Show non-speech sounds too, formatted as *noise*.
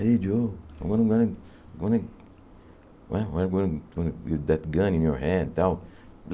Hey, Joe, I'm gonna... I'm gonna... I'm gonna... como é *unintelligible* That gun in your hand, e tal.